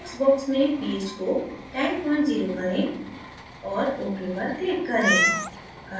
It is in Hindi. text box में ph को 100 करें और ok पर click करें